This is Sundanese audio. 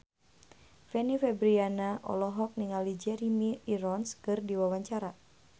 Fanny Fabriana olohok ningali Jeremy Irons keur diwawancara